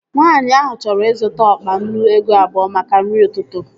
Nwaanyi ahụ chọrọ ịzụta ọkpa nnu ego abụọ maka nri ụtụtụ